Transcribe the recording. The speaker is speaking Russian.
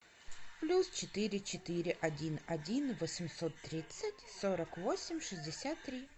плюс четыре четыре один один восемьсот тридцать сорок восемь шестьдесят три